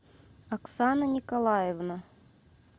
оксана николаевна